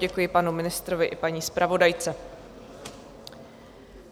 Děkuji panu ministrovi i paní zpravodajce.